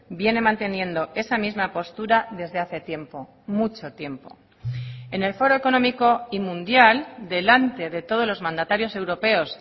viene manteniendo esa misma postura desde hace tiempo mucho tiempo en el foro económico y mundial delante de todos los mandatarios europeos